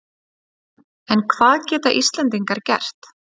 En hvað geta Íslendingar gert?